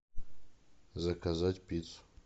заказать пиццу